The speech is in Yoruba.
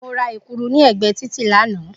Mo ra Èkuru ni ègbée títì lánàá